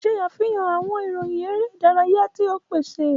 Ṣe afihan awọn iroyin ere idaraya ti o paṣẹ!